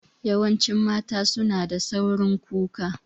Yawancin mata su na da saurin kuka